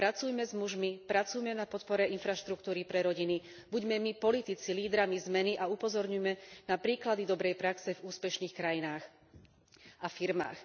Pracujme s mužmi, pracujme na podpore infraštruktúry pre rodiny, buďme my politici lídrami zmeny a upozorňujme na príklady dobrej praxe v úspešných krajinách a firmách.